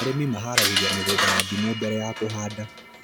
Arĩmi maharagĩrĩria mĩgũnda ya ndimu mbere ya kũhanda